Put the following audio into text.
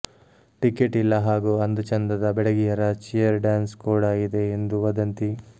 ticket ಇಲ್ಲ ಹಾಗೂ ಅಂದಚಂದದ ಬೆಡಗಿಯರ ಚಿಯರ್ ಡಾನ್ಸ್ ಕೂಡಾ ಇದೆ ಎಂದು ವದಂತಿ